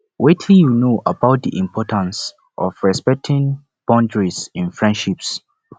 wetin you know about di importance of respecting boundiaries in friendships